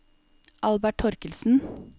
Albert Thorkildsen